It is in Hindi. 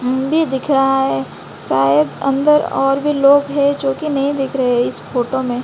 मूवी दिख रहा है शायद अंदर और भी लोग है जोकि नहीं दिख रहे हैं इस फोटो में--